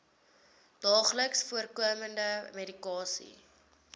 daagliks voorkomende medikasie